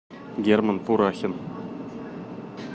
герман пурахин